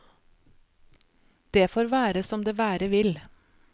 Det får være som det være vil.